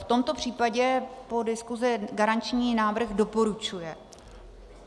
V tomto případě po diskusi garanční výbor doporučuje.